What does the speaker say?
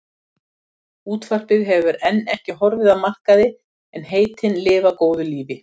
Útvarpið hefur enn ekki horfið af markaði en heitin lifa góðu lífi.